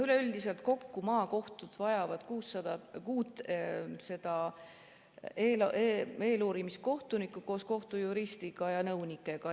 Üleüldiselt kokku maakohtud vajavad kuut eeluurimiskohtunikku koos kohtujuristi ja nõunikega.